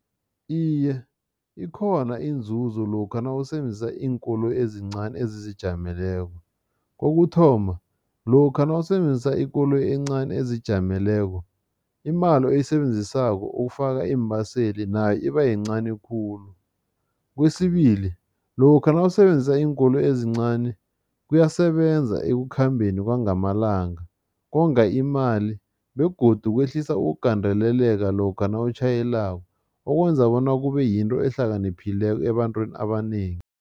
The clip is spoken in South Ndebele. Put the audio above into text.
Iye, ikhona inzuzo lokha nawusebenzisa iinkoloyi ezincani ezizijameleko. kokuthoma, lokha nawusebenzisa ikoloyi encani ezijameleko, imali oyisebenzisako ukufaka iimbaseli nayo ibayincani khulu. Kwesibili, lokha nawusebenzisa iinkoloyi ezincani kuyasebenza ekukhambeni kwangamalanga, konga imali begodu kwehlisa ukugandeleleka lokha nawutjhayelako okwenza bona kube yinto ehlakaniphileko ebantwini abanengi.